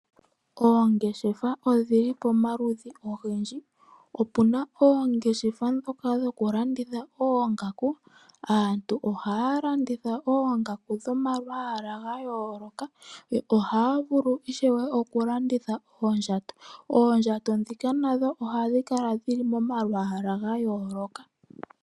Oongeshefa odhili pomaludhi ogendji . Opuna oongeshefa ndhoka dhokulanditha oongaku . Aantu ohaya landitha oongaku dhomalwaala gayooloka . Ohaya vulu ishewe okulanditha oondjato . Oondjato ndhika nadho ohadhi kala momalwaala gayooloka.